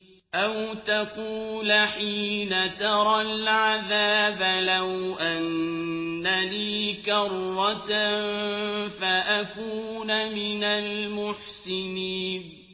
أَوْ تَقُولَ حِينَ تَرَى الْعَذَابَ لَوْ أَنَّ لِي كَرَّةً فَأَكُونَ مِنَ الْمُحْسِنِينَ